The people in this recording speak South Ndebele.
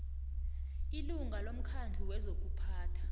ilunga lomkhandlu wezokuphatha